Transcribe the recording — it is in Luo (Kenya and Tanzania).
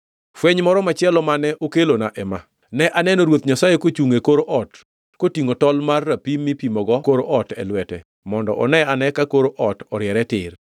Fweny moro machielo mane okelona ema: Ne aneno Ruoth Nyasaye kochungʼ e kor ot kotingʼo tol mar rapim mipimogo kor ot e lwete mondo one ane ka kor ot oriere tir.